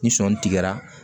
Ni sɔɔni tigɛra